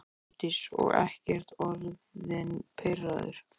Hjördís: Og ekkert orðinn pirraður?